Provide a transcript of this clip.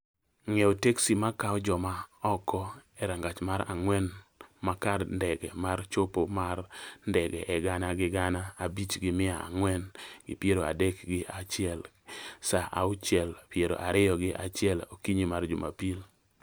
ng�iewo teksi ma kawo ja ma oko e rangach ma ang�wen ma kar ndege ma chopo ma ndege aa gana gi gana abich gi mia ang�wen gi piero adek gi achiel saa auchiel piero ariyo gi achiel okinyi ma Jumapil